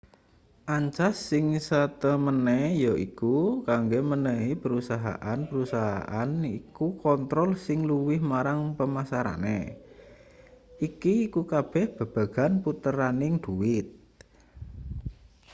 ancas sing satemene yaiku kanggo menehi perusahaan-perusahaan iku kontrol sing luwih marang pemasarane iki iku kabeh babagan puteraning dhuwit